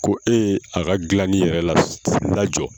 Ko e ye a ka dilani yɛrɛ la jɔ.